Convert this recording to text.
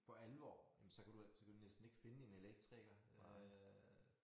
For alvor jamen så kan du ikke så kan du næsten ikke finde en elektriker øh